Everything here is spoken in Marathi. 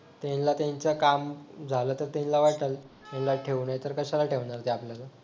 त्यांना त्यांचं काम झालं तर त्यांना वाटल ह्याला ठेवू नाही तर कशाला ठेवणार ते आपल्याला